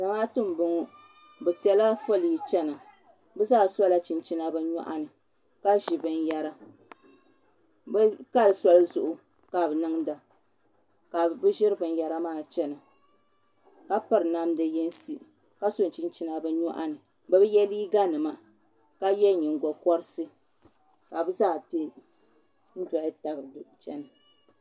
Zamaaatu n bɔŋɔ bi piɛla foolii chɛna bi zaa sola chinchina bi nyoɣani ka ʒi binyɛra bi kali soli zuɣu ka bi niŋda ka bi ʒiri binyɛra maa chɛna ka piri namdi yinsi ka so chinchina bi nyoɣani bi bi yɛ liiga nima ka yɛ nyingokori ka bi zaa piɛ n dɔli tabi chɛna